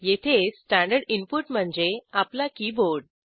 येथे standard input म्हणजे आपला कीबोर्ड